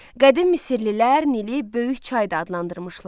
Qədim Misirlilər Nili böyük çay da adlandırmışlar.